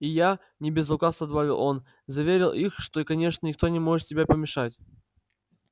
и я не без лукавства добавил он заверил их что конечно ничто не может тебе помешать